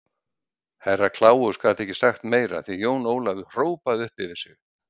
Herra Kláus gat ekki sagt meira því Jón Ólafur hrópaði upp yfir sig.